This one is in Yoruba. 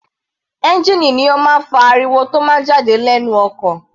Ẹ́ngìnì ni ó máa ń fa ariwo tó máa ń jáde lẹ́nu ọkọ̀.